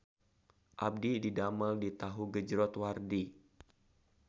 Abdi didamel di Tahu Gejrot Wardi